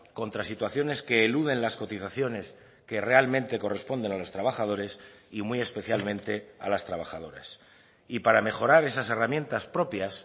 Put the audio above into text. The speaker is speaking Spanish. contra situaciones que eluden las cotizaciones que realmente corresponden a los trabajadores y muy especialmente a las trabajadoras y para mejorar esas herramientas propias